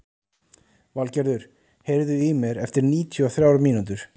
Valgerður, heyrðu í mér eftir níutíu og þrjár mínútur.